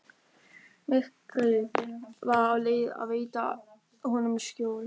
Myrkrið var á leið að veita honum skjól.